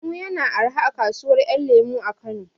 Lemu ya na arha a kasuwar ƴan lemu a Kano